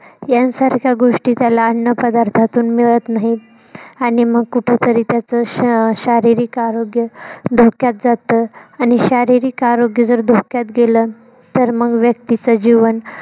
यांसारख्या गोष्टी त्याला अन्न पदार्थातून मिळत नाहीत आणि मग कुठतरी त्याच श शारीरिक आरोग्य धोक्यात जात आणि शारीरिक आरोग्य जर, धोक्यात गेल तर, मग व्यक्तीच जीवन